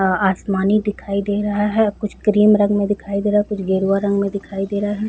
आसमानी दिखाई दे रहा है कुछ क्रीम रंग में दिखाई दे रहा है कुछ गेरुआ रंग में दिखाई दे रहा हैं ।